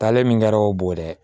Taale min kɛra o bo ye